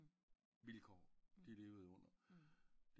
Vilkår de levede under